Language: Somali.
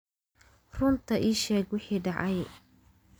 Run ii sheeg wixii dhacay